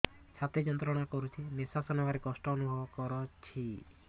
ଛାତି ଯନ୍ତ୍ରଣା କରୁଛି ନିଶ୍ୱାସ ନେବାରେ କଷ୍ଟ ଅନୁଭବ କରୁଛି